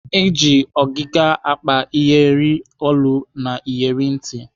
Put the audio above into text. Eji ọgịga akpa iyeri olu na iyeri ntị.